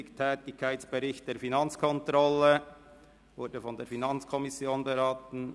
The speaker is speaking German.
DerTätigkeitsbericht 2017 der Finanzkontrolle wurde von der FiKo beraten.